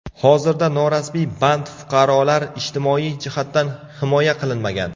Hozirda norasmiy band fuqarolar ijtimoiy jihatdan himoya qilinmagan.